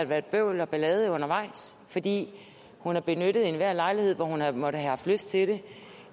været bøvl og ballade undervejs fordi hun har benyttet enhver lejlighed hvor hun har måttet have lyst til det